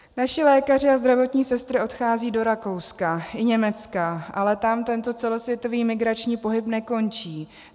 Naši lékaři a zdravotní sestry odcházejí do Rakouska i Německa, ale tam tento celosvětový migrační pohyb nekončí.